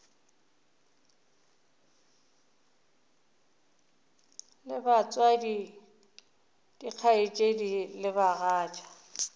le batswadi dikgaetšedi le bagatša